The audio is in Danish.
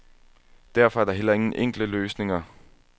Derfor er der heller ingen enkle løsninger.